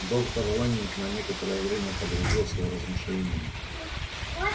доктор лэннинг на некоторое время погрузился в размышления